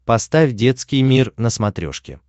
поставь детский мир на смотрешке